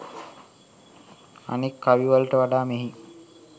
අනෙක් කවිවලට වඩා මෙහි